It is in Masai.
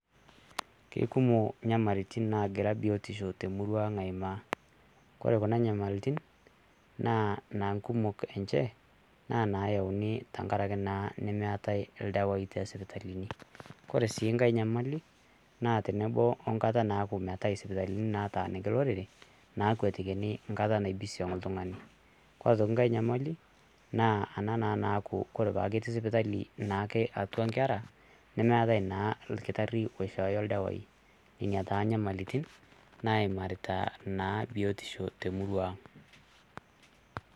Kekumo inyamalirritin naagira biotisho te murruaang' aimaa, kore kuna inyamalirritin naaa nkumok enchee naa nayauni naa tengaraki neatae irdawaii te sipitalini, ore sii enkae nyamali naa tenebo omkata naaku meatae sipitalini nataaniki lorere naakwetikini enkata naibisiong' ltungani, kore aitoki inkae nyamali naa ena naa kore paa ketii sipitali naake atua inkerra nemeatae naa ilkitari oishooyo irdawaii, inia taa inyamalirritin naimarita naa biotisho te murruaang' .